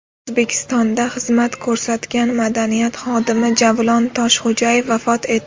O‘zbekistonda xizmat ko‘rsatgan madaniyat xodimi Javlon Toshxo‘jayev vafot etdi.